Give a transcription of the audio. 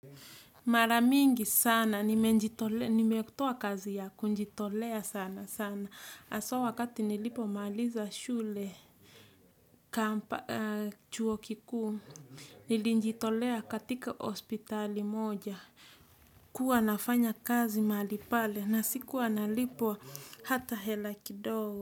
Mara mingi sana, nimekutoa kazi ya kunjitolea sana sana. Haswa wakati nilipomaliza shule, chuo kikuu, nilinjitolea katika hospitali moja. Kuwa nafanya kazi mahali pale, na sikuwa na lipwa hata hela kidogo.